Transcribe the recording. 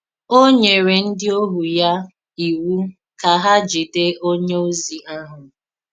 Ó nyere ndí òhù ya ìwu ka hà jìdè onye ozi ahụ.